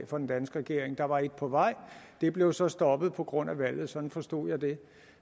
fra den danske regering der var et på vej det blev så stoppet på grund af valget sådan forstod jeg det